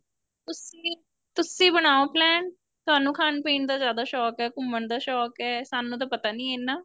ਤੁਸੀਂ ਤੁਸੀਂ ਬਣਾਉ plain ਤੁਹਾਨੂੰ ਖਾਣ ਪੀਣ ਦਾ ਜਿਆਦਾ ਸ਼ੋਂਕ ਏ ਘੁੰਮਣ ਦਾ ਸ਼ੋਂਕ ਏ ਸਾਨੂੰ ਤਾਂ ਪਤਾ ਨੀਂ ਇੰਨਾ